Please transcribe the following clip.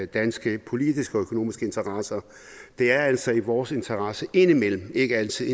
danske politiske og økonomiske interesser det er altså i vores interesse indimellem ikke altid